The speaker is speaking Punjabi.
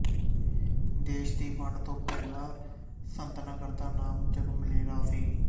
ਦੇਸ਼ ਦੀ ਵੰਡ ਤੋਂ ਪਹਿਲਾਂ ਸੰਤਨਗਰ ਦਾ ਨਾਮ ਜਗਮਲੇਰਾ ਸੀ